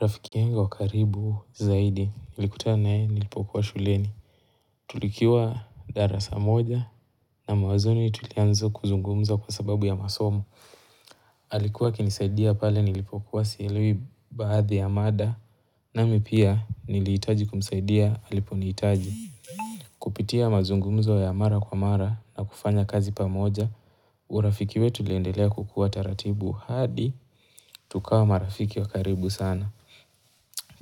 Rafiki yengu wa karibu zaidi nilikutana naye nilipokuwa shuleni tulikiwa darasa moja na mawanzoni tulianza kuzungumza kwa sababu ya masomo alikuwa akinisaidia pale nilipokuwa sielewi baadhi ya mada nami pia nilihitaji kumsaidia aliponihitaji kupitia mazungumzo ya mara kwa mara na kufanya kazi pamoja urafiki wetu uliendelea kukuwa taratibu hadi tukawa marafiki wa karibu sana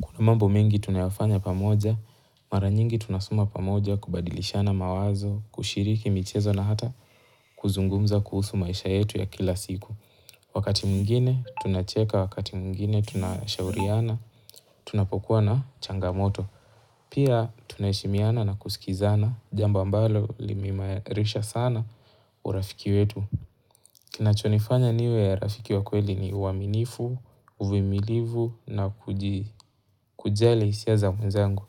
Kuna mambo mengi tunayafanya pamoja, mara nyingi tunasoma pamoja kubadilishana mawazo, kushiriki michezo na hata kuzungumza kuhusu maisha yetu ya kila siku. Wakati mwingine tunacheka, wakati mwingine tunashauriana, tunapokuwa na changamoto. Pia tunaheshimiana na kusikizana, jamba ambalo limehimarisha sana urafiki wetu. Kinachonifanya niwe rafiki wa kweli ni uaminifu, uvimilivu na kuji kujali hisia za mwenzangu.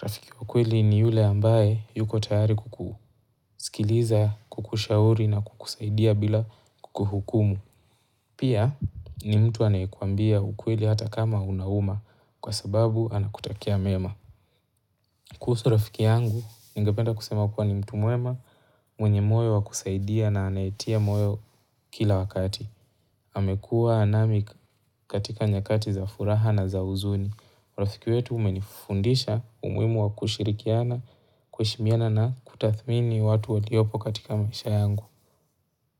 Rafiki kweli ni yule ambaye yuko tayari kukusikiliza, kukushauri na kukusaidia bila kukuhukumu. Pia ni mtu anayekuambia ukweli hata kama unauma kwa sababu anakutakia mema. Kuhusu rafiki yangu, ningependa kusema kuwa ni mtu mwema mwenye moyo wa kusaidia na anayetia moyo kila wakati. Amekuwa nami katika nyakati za furaha na za huzuni. Urafiki wetu umenifundisha umuhimu wa kushirikiana kuheshimiana na kutathmini watu waliopo katika maisha yangu.